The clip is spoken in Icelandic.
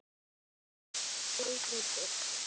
Eitt él það er aldrei birtir.